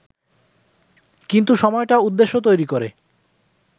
কিন্তু সময়টা উদ্দেশ্য তৈরি করে